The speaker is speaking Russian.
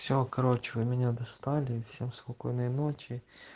все короче вы меня достали всем спокойной ночи